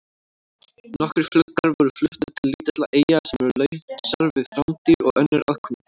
Nokkrir fuglar voru fluttir til lítilla eyja sem eru lausar við rándýr og önnur aðkomudýr.